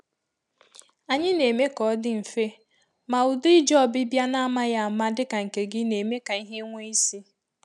Anyị na-eme ka ọ dị mfe, ma ụdị ije ọbịbịa n’amaghị ama dị ka nke gị na-eme ka ihe nwee isi